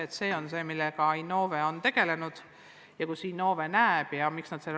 Sest see on see, millega Innove on tegelenud ja kus Innove näeb võimalusi.